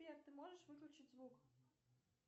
сбер ты можешь выключить звук